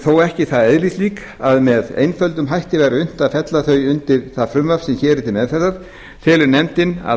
þó ekki það eðlislík að með einföldum hætti væri unnt að fella þau undir það frumvarp sem hér er til meðferðar telur nefndin að